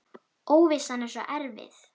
Óvissan er svo erfið.